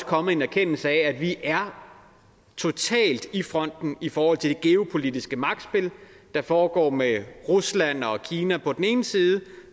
kommet en erkendelse af at vi er totalt i front i forhold til det geopolitiske magtspil der foregår mellem rusland og kina på den ene side